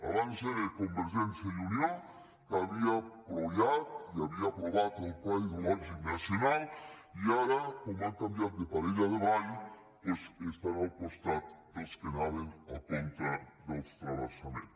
abans era convergència i unió que havia donat suport i havia aprovat el pla hidrològic nacional i ara com han canviat de parella de ball doncs estan al costat dels que anaven en contra del transvasament